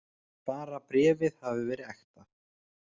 Bara bréfið hefði verið ekta!